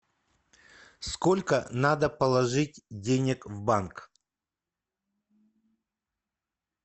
сколько надо положить денег в банк